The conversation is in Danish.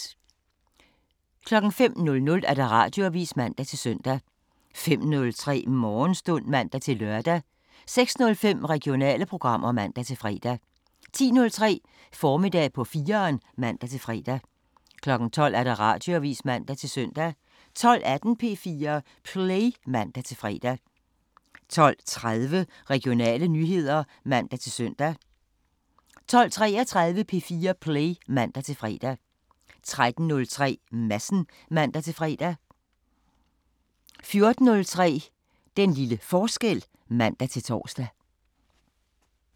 05:00: Radioavisen (man-søn) 05:03: Morgenstund (man-lør) 06:05: Regionale programmer (man-fre) 10:03: Formiddag på 4'eren (man-fre) 12:00: Radioavisen (man-søn) 12:18: P4 Play (man-fre) 12:30: Regionale nyheder (man-søn) 12:33: P4 Play (man-fre) 13:03: Madsen (man-fre) 14:03: Den lille forskel (man-tor)